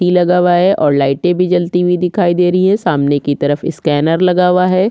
सी लगा हुआ हैं और लाइटे भी जलती हुई दिखाई दे रही हैं सामने की तरफ स्कैनर लगा हुआ हैं।